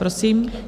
Prosím.